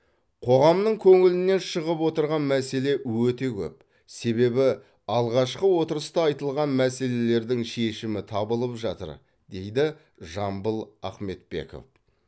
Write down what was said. қоғамның көңілінен шығып отырған мәселе өте көп себебі алғашқы отырыста айтылған мәселелердің шешімі табылып жатыр дейді жамбыл ахметбеков